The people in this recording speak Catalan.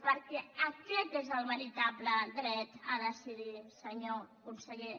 perquè aquest és el veritable dret a decidir senyor conseller